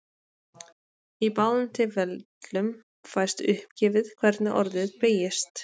Í báðum tilfellum fæst uppgefið hvernig orðið beygist.